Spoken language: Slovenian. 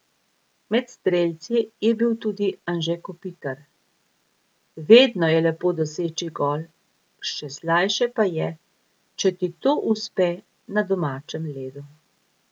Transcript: Med strelci je bil tudi Anže Kopitar: 'Vedno je lepo doseči gol, še slajše pa je, če ti to uspe na domačem ledu.